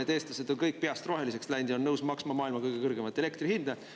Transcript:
Ütleme, et eestlased on kõik peast roheliseks läinud ja on nõus maksma maailma kõige kõrgemat elektrihinda.